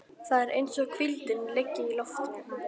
Það er eins og hvíldin liggi í loftinu.